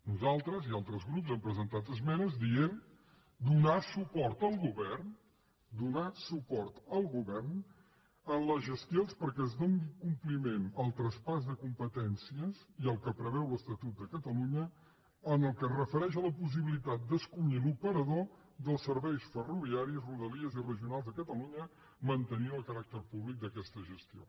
nosaltres i altres grups hem presentat esmenes dient donar suport al govern donar suport al govern en les gestions perquè es doni compliment al traspàs de competències i al que preveu l’estatut de catalunya en el que es refereix a la possibilitat d’escollir l’operador dels serveis ferroviaris de rodalies i regionals de catalunya mantenint el caràcter públic d’aquesta gestió